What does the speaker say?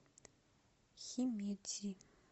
химедзи